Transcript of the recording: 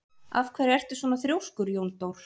Af hverju ertu svona þrjóskur, Jóndór?